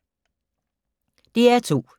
DR2